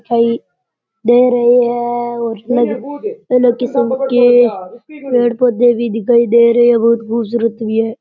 दिखाई दे रहे हैं और अलग अलग किस्म के पेड़ पौधे भी दिखाई दे रहे हैं बहुत खूबसूरत भी हैं।